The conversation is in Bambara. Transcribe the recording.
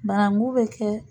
Bananku be kɛ